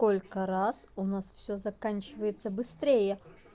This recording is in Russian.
сколько раз у нас все заканчивается быстрее